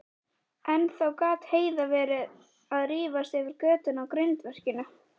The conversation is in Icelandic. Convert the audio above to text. Ennþá gat Heiða verið að rífast yfir götunum á grindverkinu.